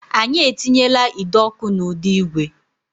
Anyị etinyela ide ọkụ na ụdọ igwe